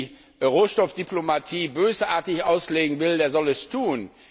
Wer die Rohstoffdiplomatie bösartig auslegen will, der soll es tun.